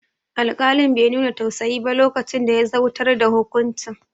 Alƙalin be nuna tausayi ba lokacin da ya zautar da hukuncin